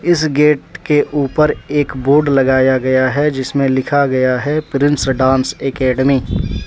इस गेट के ऊपर एक बोर्ड लगाया गया है जिसमे लिखा गया है प्रिंस डांस एकेडमी ।